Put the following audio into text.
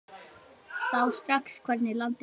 Sá strax hvernig landið lá.